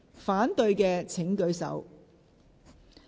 反對的請舉手。